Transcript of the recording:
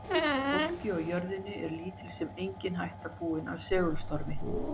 fólki á jörðu niðri er lítil sem engin hætta búin af segulstormi